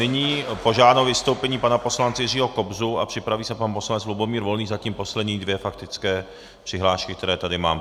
Nyní požádám o vystoupení pana poslance Jiřího Kobzu a připraví se pan poslanec Lubomír Volný, zatím poslední dvě faktické přihlášky, které tady mám.